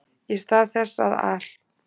Í stað þess að al